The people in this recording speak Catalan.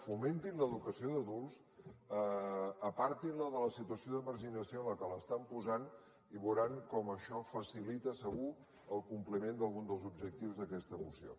fomentin l’educació d’adults apartin la de la situació de marginació a què l’estan posant i veuran com això facilita segur el compliment d’algun dels objectius d’aquesta moció